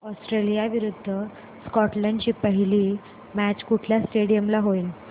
Australia विरुद्ध Scotland ची पहिली मॅच कुठल्या स्टेडीयम ला होईल